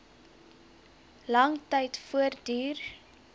lang tyd voortduur